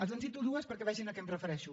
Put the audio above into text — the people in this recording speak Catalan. els en cito dues perquè vegin a què em refereixo